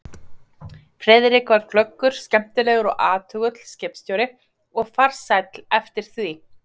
Friðrik var glöggur, skemmtilegur og athugull skipstjóri og farsæll eftir því.